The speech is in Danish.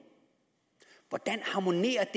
hvordan harmonerer